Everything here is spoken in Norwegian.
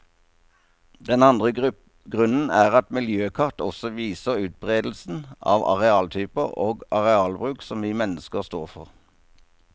Den andre grunnen er at miljøkart også viser utberedelsen av arealtyper og arealbruk som vi mennesker står for.